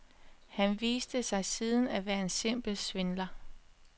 Han viste sig siden at være en simpel svindler.